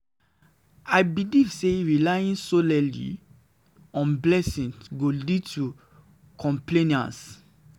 dey believe say laying soly on blessing go lead to complesense.